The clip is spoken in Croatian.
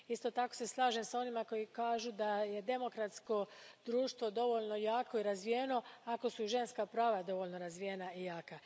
Isto tako se slažem s onima koji kažu da je demokratsko društvo dovoljno jako i razvijeno ako su ženska prava dovoljno razvijena i jaka.